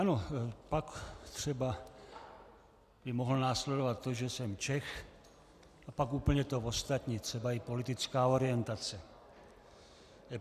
Ano, pak třeba by mohlo následovat to, že jsem Čech, a pak úplně to ostatní, třeba i politická orientace.